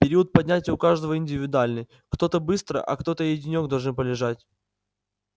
период поднятия у каждого индивидуальный кто-то быстро а кто-то и денёк должен полежать